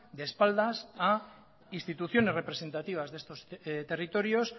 de espaldas a instituciones representativas de estos territorios